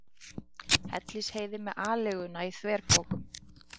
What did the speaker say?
Hellisheiði með aleiguna í þverpokum.